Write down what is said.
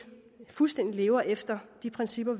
fuldstændig lever efter de principper